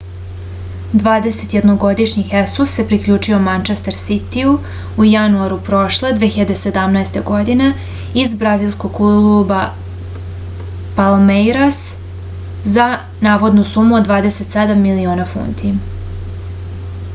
dvadesetjednogodišnji hesus se priključio mančester sitiju u januaru prošle 2017. godine iz brazilskog kluba palmeiras za navodnu sumu od 27 miliona funti